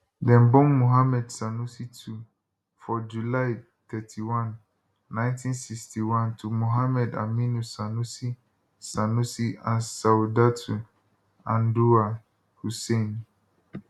dem born muhammadu sanusi ii for july 31 1961 to muhammad aminu sanusi sanusi and saudatu anduwa hussain